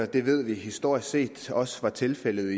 det ved vi historisk set også var tilfældet